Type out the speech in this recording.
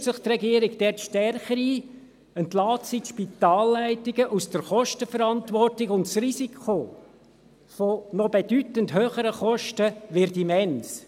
Mischt sich die Regierung dort stärker ein, entlässt sie die Spitalleitungen aus der Kostenverantwortung, und das Risiko von noch bedeutend höheren Kosten wird immens.